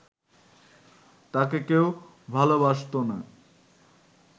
তাকে কেউ ভালবাসত না